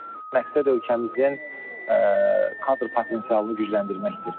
Məqsəd ölkəmizin kadr potensialını gücləndirməkdir.